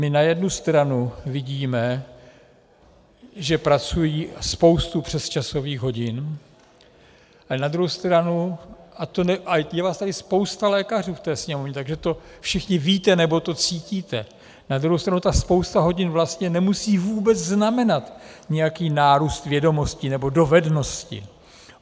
My na jednu stranu vidíme, že pracují spoustu přesčasových hodin, ale na druhou stranu, a je vás tady spousta lékařů v té Sněmovně, takže to všichni víte, nebo to cítíte, na druhou stranu ta spousta hodin vlastně nemusí vůbec znamenat nějaký nárůst vědomostí nebo dovedností.